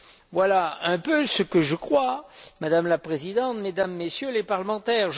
Voilà ce que je crois, Madame la Présidente, Mesdames et Messieurs les parlementaires.